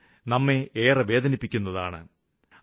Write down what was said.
ഇത് നമ്മെ ഏറെ വേദനിപ്പിക്കുന്നതാണ്